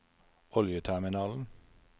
oljeterminalen